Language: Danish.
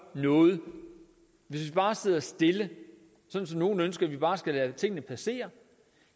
noget hvis vi bare sidder stille som nogle ønsker vi bare skal lade tingene passere